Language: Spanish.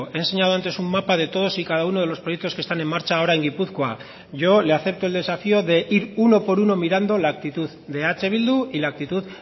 he enseñado antes un mapa de todos y cada uno de los proyectos que están en marcha ahora en gipuzkoa yo le acepto el desafío de ir uno por uno mirando la actitud de eh bildu y la actitud